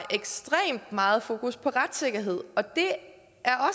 ekstremt meget fokus på retssikkerhed og det